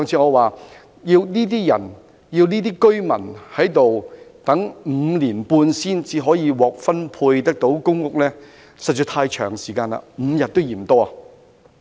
我上次說過，要這些居民等待5年半才能獲分配公屋，時間實在太長 ，5 天也嫌多。